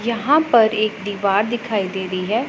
यहां पर एक दीवार दिखाई दे रही है।